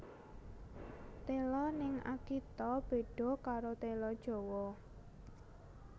Telo ning Akita bedo karo telo Jowo